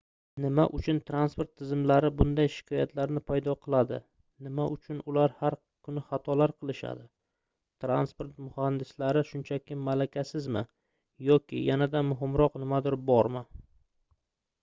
nima uchun transport tizimlari bunday shikoyatlarni paydo qiladi nima uchun ular har kuni xatolar qilishadi transport muhandislari shunchaki malakasizmi yoki yanada muhimroq nimadir bormi